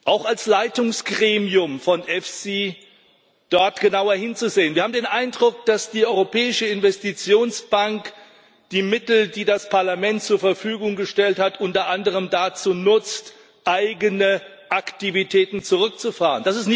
Sie, auch als Leitungsgremium von EFSI dort genauer hinzusehen Wir haben den Eindruck, dass die Europäische Investitionsbank die Mittel, die das Parlament zur Verfügung gestellt hat, unter anderem dazu nutzt, eigene Aktivitäten zurückzufahren.